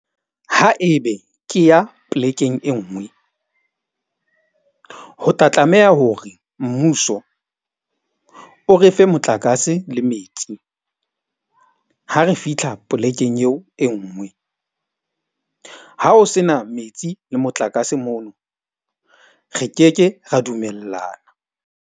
Ha ebe ke ya plek-eng enngwe, ho tla tlameha hore mmuso o re fe motlakase le metsi. Ha re fitlha polekeng eo enngwe. Ha o se na metsi le motlakase mono re keke ra dumellana.